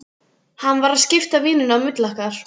Hann var að skipta víninu á milli okkar!